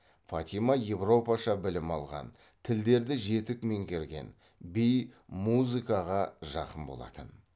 фатима европаша білім алған тілдерді жетік меңгерген би музыкаға жақын болатын